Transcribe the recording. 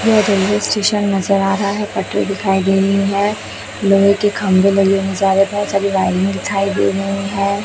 यह railway station नजर आ रहा है पटरी दिखाई दे रही है लोहे के खंभे लगे है चारों तरफ सभी लाइने दिखाई दे रही है।